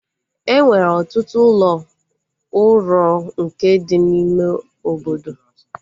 Enwere ọtụtụ ụlọ uro nke dị n'ime obodo